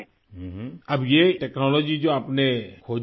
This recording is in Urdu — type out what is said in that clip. ہم! اب یہ تکنالوجی جو آپ نے دریافت کی ہے